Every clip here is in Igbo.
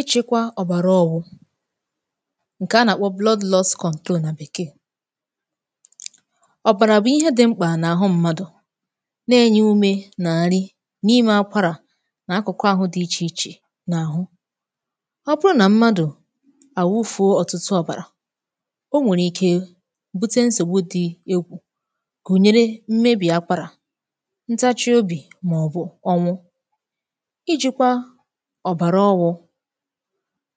ịchịkwa ọ̀bara ọ̀wụ ǹke a nà-àkpọ blood loss control nà bèkee ọ̀bàrà bụ̀ ihe di mkpà n’àhụ mmadụ̀ nà-ènye umē nà nri n’imē akwarà n’akụ̀kụ àhụ di ichè ichè n’àhụ ọ bụrụ nà mmadụ̀ àwụfuo ọ̀tụtụ ọ̀bàrà o nwèrè ike bute nsògbu di egwù kùnyere mmebì akwarà ntachị obì màọbụ ọnwụ ijīkwa ọ̀bàrà ọwụ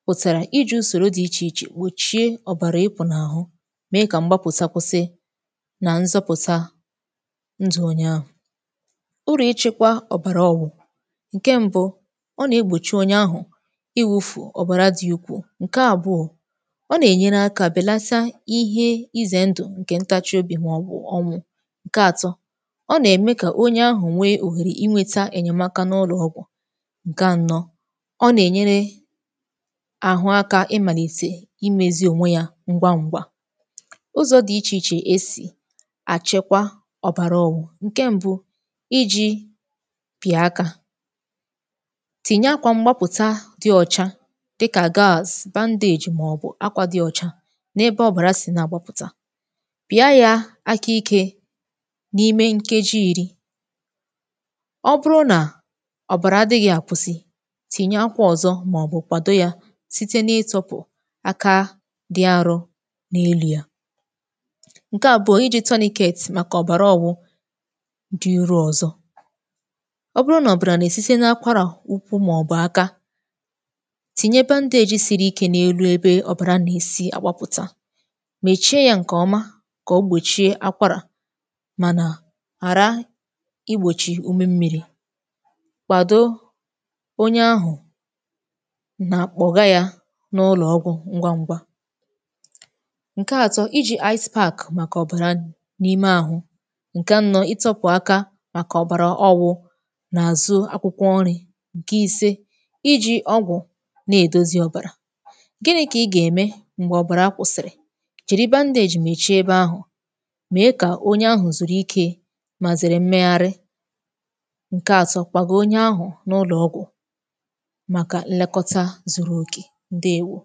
pụ̀tàrà iji ùsòro di ichè ichè gbòchie ọ̀bàrà ịpụ̀ n’àhụ mee kà mgbapụ̀sa kwụsị nà nzọpụ̀ta ndū ònye ahụ̀ urù ịchị̄kwa ọ̀bàrà ọwụ ǹke mbū ọ nà-egbòchi onye ahụ̀ ịwụ̄fụ̀ ọ̀bàra di ukwuu ǹke àbụọ ọ na-ènyere akā bèlata ihe izè ndu ǹke ntachị obì màọbụ̀ ọnwụ ǹke atọ ọ na-ème onye ahụ̀ nwee òhèrè inweta ènyèmaka n’ụlọ̀ ọgwụ̀ ǹke anọ ọ nà-ènyere àhụ akā ịmàlìtè imēzi ònwe ya ngwangwa ụzọ̀ di ichè ichè esì àchịkwa ọ̀bàra ọwu ǹke mbū iji pị̀a akā tìnye akwà mgbapụ̀ta di ọ̀cha dịkà gaz, bandage màọbụ akwā di ọ̀cha n’ebe ọ̀bàra si na-àgbapụ̀ta pịa ya aka ikē n’imē nkeji irī ọ bụrụ nà ọ̀bàrà adị̄ghị àkwụsị tìnye akwā ọ̀zọ màọbụ̀ kwàdo ya site na-itōpù aka di arọ̄ n’elū ya ǹke àbụọ, ijī tunicates màkà ọ̀bàra ọ̀wụ di irū ọ̀zọ ọ bụrụ nà ọ̀bàrà nà-èsite n’akwarà ukwu maọ̀bụ̀ aka tìnye bandage siri ikē n’elu ebe ọ̀bàra nà-èsi àgbapụ̀ta mèchie ya ǹkè ọma kà o gbòchie akwarà mànà hàra igbòchì ume mmịrị̄ kwàdo onye ahụ̀ nà kpọ̀ga ya n’ụlọ̀ ọgwụ̀ ngwangwa ǹke atọ ijī iced park màkà ọ̀bàrà nū n’ime àhụ ǹke anọ ịtọ̄pụ̀ aka màkà ọ̀bàra ọwụ̄ n’àzụ̀ akwụkwọ nrī ǹke ise ijī ọgwụ̀ na-èdozi ọ̀bàrà gini kà ị gà-ème m̀gbè ọ̀bàra kwụ̀sị̀rị̀ jìri bandage mèchie ebe ahụ̀ mee kà onye ahụ̀ zùru ikē mà zère mmegharị ǹke atọ, kwàgo onye ahụ̀ n’ụlọ̀ ọgwù màkà nlekọta zuru òke, ǹdewo